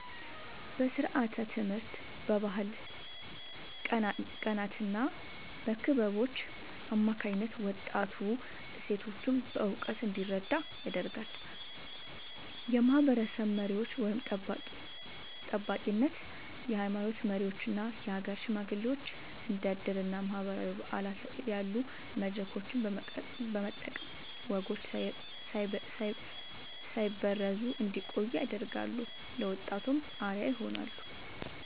በስርዓተ-ትምህርት፣ በባህል ቀናትና በክለቦች አማካኝነት ወጣቱ እሴቶቹን በእውቀት እንዲረዳ ያደርጋሉ። የማህበረሰብ መሪዎች (ጠባቂነት)፦ የሃይማኖት መሪዎችና የሀገር ሽማግሌዎች እንደ ዕድርና ማህበራዊ በዓላት ያሉ መድረኮችን በመጠቀም ወጎች ሳይበረዙ እንዲቆዩ ያደርጋሉ፤ ለወጣቱም አርአያ ይሆናሉ።